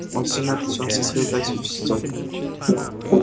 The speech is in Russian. он сильно отличался от своих братьев и сестёр